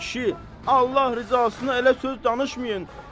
Ay kişi, Allah rızasına elə söz danışmayın.